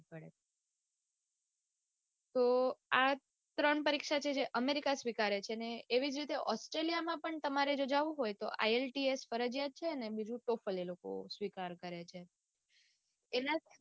તો આ ત્રણ પરીક્ષા જે છે amrica સ્વીકારે છે ને એવી જ રીતે australia માં પણ તમારે જો જાઉં હોય તો ielts ફરિજયાત છે ને બીજું ટોફલ એ લોકો સ્વીકાર કરે છે